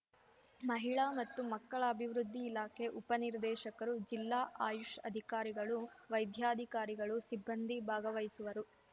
ಮಹಿಳಾ ಮತ್ತುಮಕ್ಕಳ ಅಭಿವೃದ್ದಿ ಇಲಾಖೆ ಉಪ ನಿರ್ದೇಶಕರು ಜಿಲ್ಲಾ ಆಯುಷ್‌ ಅಧಿಕಾರಿಗಳು ವೈದ್ಯಾಧಿಕಾರಿಗಳು ಸಿಬ್ಬಂದಿ ಭಾಗವಹಿಸುವರು